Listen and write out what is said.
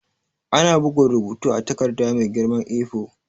Ana bugun rubutu a takarda mai girman A4.